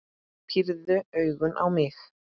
Pírði augun á mig.